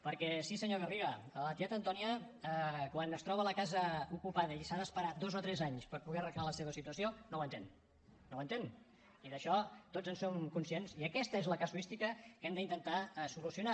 perquè sí senyor garriga la tieta antònia quan es troba la casa ocupada i s’ha d’esperar dos o tres anys per poder arreglar la seva situació no ho entén no ho entén i d’això tots en som conscients i aquesta és la casuística que hem d’intentar solucionar